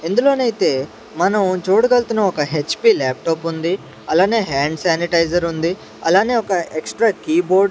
ఇందులోనైతే మనం చూడగల్తున్నాం ఒక హెచ్_పి ల్యాప్టాప్ ఉంది అలానే హ్యాండ్ శానిటైజర్ ఉంది అలానే ఒక ఎక్స్ట్రా కీబోర్డ్ .